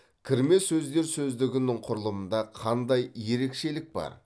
кірме сөздер сөздігінің құрылымында қандай ерекшелік бар